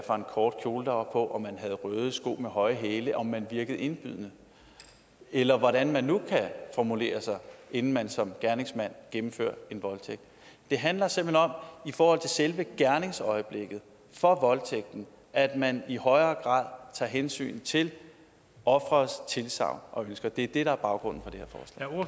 kort kjole der var på om man havde røde sko med høje hæle om man virkede indladende eller hvordan man nu kan formulere sig inden man som en gerningsmand gennemfører en voldtægt det handler simpelt hen om i forhold til selve gerningsøjeblikket for voldtægten at man i højere grad tager hensyn til offerets tilsagn og ønsker det er det der er baggrunden